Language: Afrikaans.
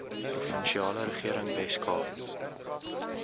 provinsiale regering weskaap